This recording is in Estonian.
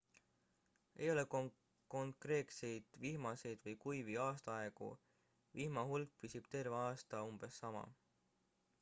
ei ole konkreetseid vihmaseid või kuivi aastaaegu vihma hulk püsib terve aasta umbes sama